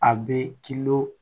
A bɛ